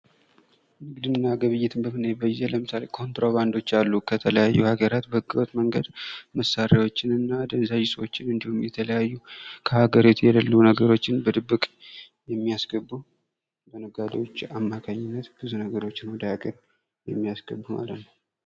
ንግድና ግብይትን በምናይበት ጊዜ ለምሳሌ ኮንትሮባንዶች አሉ ከተለያዩ ሀገራት በስርቆት መንገድ መሳሪያዎችን እና አደንዛዥ እፆችን እንዲሁም የተለያዩ ከሀገር ቤት የሌሉ ነገሮችን በድብቅ የሚያስገቡ በነጋዴዎች አማካኝነት ብዙ ነገር ወደ አገር ቤት የሚያስገቡ ማለት ነዉ።